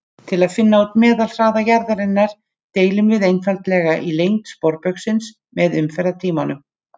Til að finna út meðalhraða jarðarinnar deilum við einfaldlega í lengd sporbaugsins með umferðartímanum: